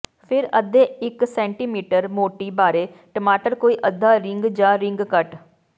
ਫਿਰ ਅੱਧੇ ਇੱਕ ਸੈਟੀਮੀਟਰ ਮੋਟੀ ਬਾਰੇ ਟਮਾਟਰ ਕੋਈ ਅੱਧਾ ਰਿੰਗ ਜ ਰਿੰਗ ਕੱਟ